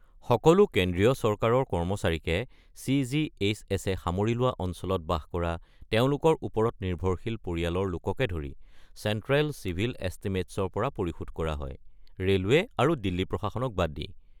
সকলো কেন্দ্ৰীয় চৰকাৰৰ কৰ্মচাৰীকে, চি.জি.এইচ.এছ.-এ সামৰি লোৱা অঞ্চলত বাস কৰা তেওঁলোকৰ ওপৰত নিৰ্ভৰশীল পৰিয়ালৰ লোককে ধৰি, চেণ্ট্ৰেল চিভিল এছটিমেটছৰ পৰা পৰিশোধ কৰা হয় (ৰে'লৱে আৰু দিল্লী প্ৰশাসনক বাদ দি)।